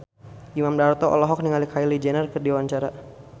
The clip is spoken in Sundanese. Imam Darto olohok ningali Kylie Jenner keur diwawancara